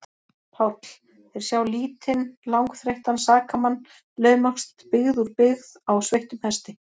PÁLL: Þeir sjá lítinn, langþreyttan sakamann laumast byggð úr byggð á sveittum hesti.